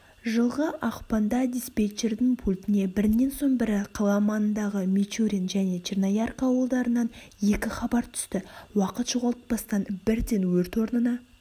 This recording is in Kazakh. жылғы ақпанда диспетчердің пультіне бірінен соң бірі қала маңындағы мичурин және черноярка ауылдарынан екі хабар түсті уақыт жоғалтпастан бірден өрт орнына